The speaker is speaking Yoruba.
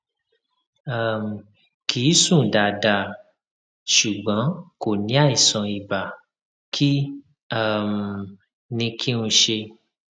um kì í sùn dáadáa ṣùgbọn kò ní àìsàn ibà kí um ni kí n ṣe um